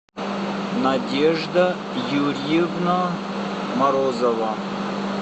надежда юрьевна морозова